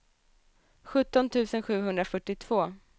sjutton tusen sjuhundrafyrtiotvå